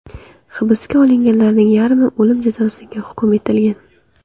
Hibsga olinganlarning yarmi o‘lim jazosiga hukm etilgan.